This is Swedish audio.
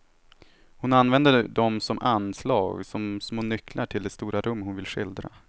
Hon använder dem som anslag, som små nycklar till de stora rum hon vill skildra.